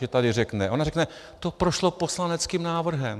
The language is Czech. Že tady řekne, ona řekne: To prošlo poslaneckým návrhem.